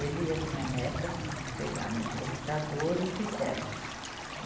Ele e a minha neta pegaram no computador e fizemos.